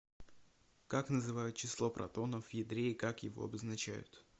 как называют число протонов в ядре и как его обозначают